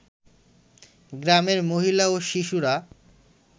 গ্রামের মহিলা ও শিশুরা